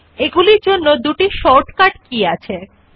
we see that the word name gets pasted automatically